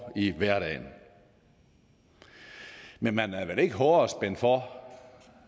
i hverdagen men man er vel ikke hårdere spændt for